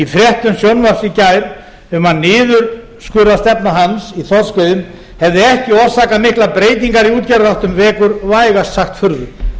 fréttum sjónvarps í gær um að niðurskurðarstefna hans í þorskveiðum hefði ekki orsakað miklar breytingar í útgerðarháttum vekur vægast sagt furðu